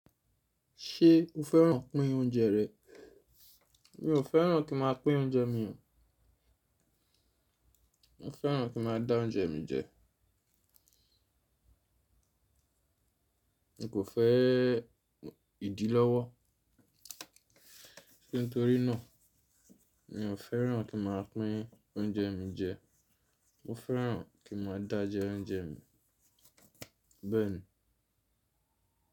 Ṣé o fẹ́ràn pín oúnjẹ rẹ? Mi ò fẹ́ràn kí n máa pín oúnjẹ mi, mo fẹ́ràn kí n máa dá oúnjẹ mi jẹ. Mi kò fẹ́ ìdí lọ́wọ́, nítorí náà mi ò fẹ́ràn kí n máa pín oúnjẹ mi jẹ́, mo fẹ́ràn kí ma dá jẹ oúnjẹ mi. Bẹ́ẹ̀ni.